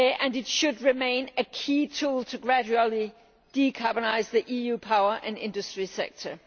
It should remain a key tool to gradually decarbonise the EU power and industry sector.